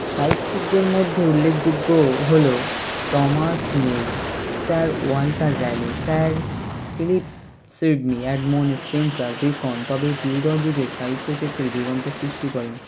সাহিত্যিক দের মধ্যে উল্লেখযোগ্য হলো Thomas More, Sir Walter Raleigh, Sir Philip Sidney, Edmund Spenser , Bacon Tudor যুগে সাহিত্য ক্ষেত্রে যুগান্তর সৃষ্টি করেন